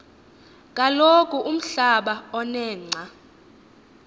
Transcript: kaloku umblaba onengca